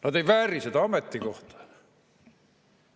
Nad ei vääri oma ametikohta.